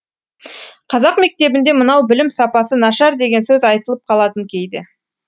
қазақ мектебінде мынау білім сапасы нашар деген сөз айтылып қалатын кейде